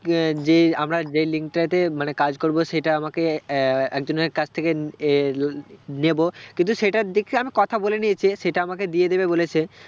কি না যে আমরা যেই link টাতে মানে কাজ করবো সেটা আমাকে আহ একজনের কাছ থেকে এ নেবো কিন্তু সেটা দেখছি আমি কথা বলে নিয়েছি সেটা আমাকে দিয়ে দেবে বলেছে